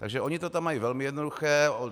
Takže oni to tam mají velmi jednoduché.